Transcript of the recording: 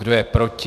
Kdo je proti?